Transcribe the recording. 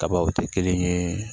Kabaw tɛ kelen ye